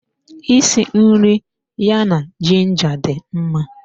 Isi nri ya na ginger dị mma